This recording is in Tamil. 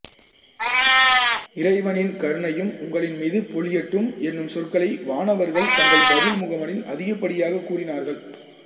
இறைவனின் கருணையும் உங்களின் மீது பொழியட்டும் என்னும் சொற்களை வானவர்கள் தங்கள் பதில் முகமனில் அதிகப்படியாக கூறினார்கள்